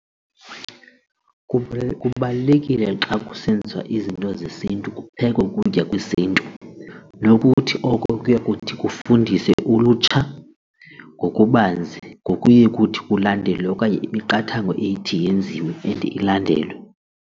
kubalulekile xa kusenziwa izinto zesiNtu kuphekwe ukutya kwesiNtu nokuthi oko kuya kuthi kufundise ulutsha ngokubanzi ngokuye ukuthi kulandelwe okanye imiqathango ethi yenziwe and ilandelwe.